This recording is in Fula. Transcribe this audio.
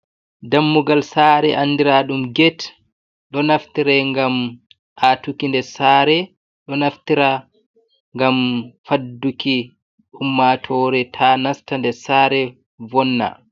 Dammugal saare andiraɗum get ɗo naftira gam atuki nder sare, ɗo naftira ngam fadduki ummatore ta nasta nder sare wonna.